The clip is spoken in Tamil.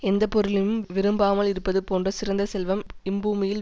எந்த பொருளையும் விரும்பாமல் இருப்பது போன்ற சிறந்த செல்வம் இப்பூமியில்